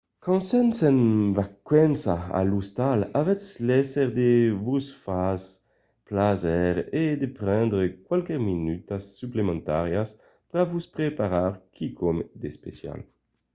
quand sètz en vacanças a l'ostal avètz léser de vos far plaser e de prendre qualques minutas suplementàrias per vos preparar quicòm d’especial